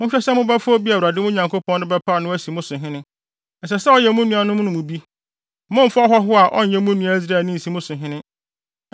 monhwɛ sɛ mobɛfa obi a Awurade, mo Nyankopɔn no, bɛpaw no asi mo so hene. Ɛsɛ sɛ ɔyɛ mo nuanom no mu bi. Mommfa ɔhɔho a ɔnyɛ mo nua Israelni nsi mo so hene.